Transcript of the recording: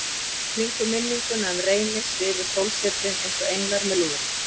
Í kringum minninguna um Reyni svifu sólsetrin einsog englar með lúðra.